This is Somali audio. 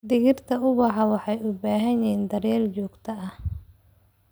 Dhirta ubaxa waxay u baahan yihiin daryeel joogto ah.